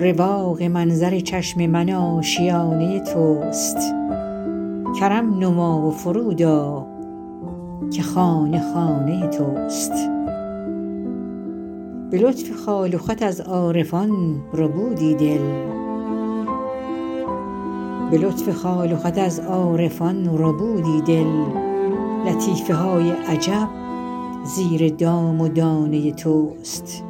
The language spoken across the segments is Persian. رواق منظر چشم من آشیانه توست کرم نما و فرود آ که خانه خانه توست به لطف خال و خط از عارفان ربودی دل لطیفه های عجب زیر دام و دانه توست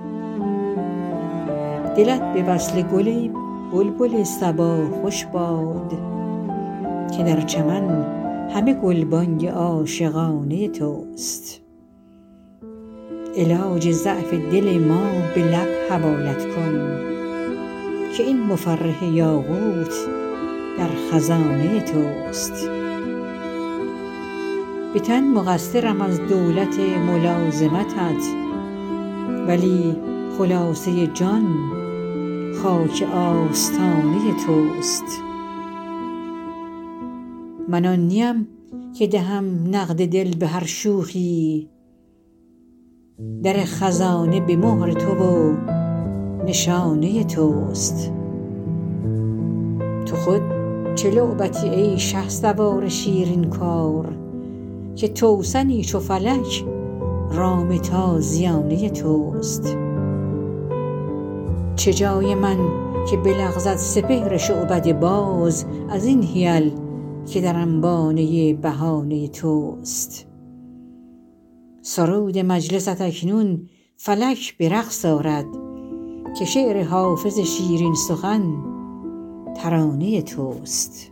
دلت به وصل گل ای بلبل صبا خوش باد که در چمن همه گلبانگ عاشقانه توست علاج ضعف دل ما به لب حوالت کن که این مفرح یاقوت در خزانه توست به تن مقصرم از دولت ملازمتت ولی خلاصه جان خاک آستانه توست من آن نیم که دهم نقد دل به هر شوخی در خزانه به مهر تو و نشانه توست تو خود چه لعبتی ای شهسوار شیرین کار که توسنی چو فلک رام تازیانه توست چه جای من که بلغزد سپهر شعبده باز از این حیل که در انبانه بهانه توست سرود مجلست اکنون فلک به رقص آرد که شعر حافظ شیرین سخن ترانه توست